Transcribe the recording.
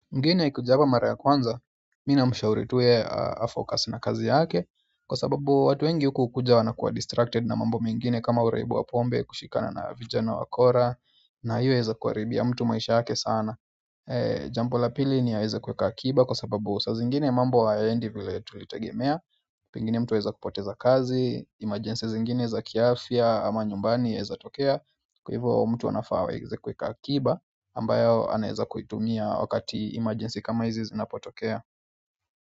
Mgeni akikujaa hapa mara ya kwanza, mimi na mshauri tuu yeye afokasi na kazi yake kwa sababu watu wengi huku hukuja wana kuwa distracted na mambo mengine kama uraibu wa pombe kushikana na vijana wakora na hiyo yaeza kuharibia mtu maisha yake sana jambo la pili ni ya aweze kuweka akiba kwa sababu saa zingine mambo hayayendi vile tulitegemea pengine mtu aeza kupoteza kazi, imajense zingine za kiafya ama nyumbani yaeza tokea kwa hivyo mtu anafaa aweze kuweka akiba ambayo anaeza kuitumia wakati emergency kama hizi zinapotokea.